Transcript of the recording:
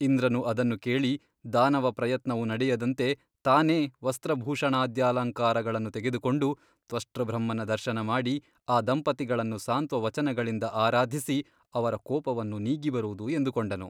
ಇಂದ್ರನು ಅದನ್ನು ಕೇಳಿ ದಾನವಪ್ರಯತ್ನವು ನಡೆಯದಂತೆ ತಾನೇ ವಸ್ತ್ರಭೂಷಣಾದ್ಯಲಂಕಾರಗಳನ್ನು ತೆಗೆದುಕೊಂಡು ತ್ವಷ್ಟೃಬ್ರಹ್ಮನ ದರ್ಶನ ಮಾಡಿ ಅ ದಂಪತಿಗಳನ್ನು ಸಾಂತ್ವವಚನಗಳಿಂದ ಆರಾಧಿಸಿ ಅವರ ಕೋಪವನ್ನು ನೀಗಿ ಬರುವುದು ಎಂದುಕೊಂಡನು.